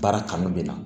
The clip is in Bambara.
Baara kanu de la